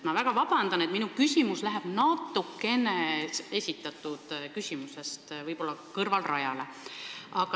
Palun väga vabandust, aga minu küsimus läheb natukene esitatud küsimusest kõrvale.